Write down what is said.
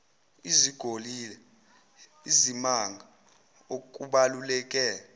izogila izimanga okubaluleke